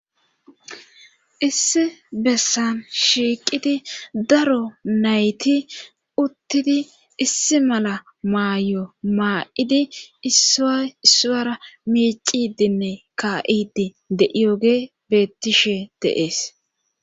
Issi bessan shiiqidi daro nayti uttidi issi mala maayo maa'idi issuwara miicidinne ka'idi de7iyoge bettishe deees.